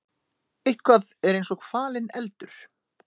Eitthvað er eins og falinn eldur